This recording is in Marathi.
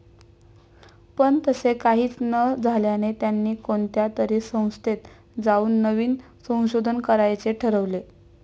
पण तसे काहीच न झाल्याने त्यांनी कोणत्या तरी संस्थेत जाऊन नवीन संशोधन करायचे ठरवले.